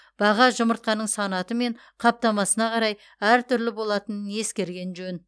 баға жұмыртқаның санаты мен қаптамасына қарай әртүрлі болатынын ескерген жөн